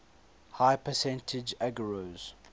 high percentage agarose